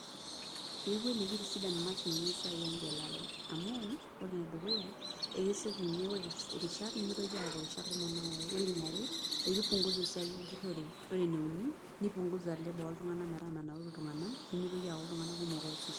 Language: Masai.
Etii kweli kitisidan imashinini esiai engelare amuore enedukuya nimitoki aaku ore eniare nipunguza esiai empurore, ore eneuni nipunguza esiai oltunganak metaa menaura ltunganak nimitoki aaku ltunganak kumok oasisho.